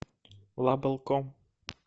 лабл ком